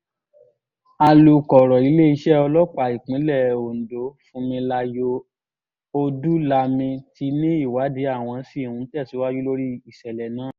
alūkọ̀rọ̀ iléeṣẹ́ ọlọ́pàá ìpínlẹ̀ ondo funmilayo ọdúnlami ti ní ìwádìí àwọn ṣì ń tẹ̀síwájú lórí ìṣẹ̀lẹ̀ náà